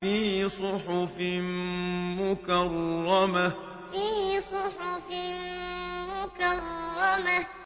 فِي صُحُفٍ مُّكَرَّمَةٍ فِي صُحُفٍ مُّكَرَّمَةٍ